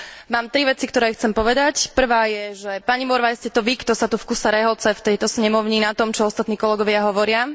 Mám tri veci, ktoré chcem povedať prvá je, že pani Morvai, ste to vy, kto sa tu vkuse rehoce v tejto snemovni na tom, čo ostatní kolegovia hovoria.